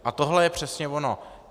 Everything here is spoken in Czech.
A tohle je přesně ono.